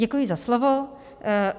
Děkuji za slovo.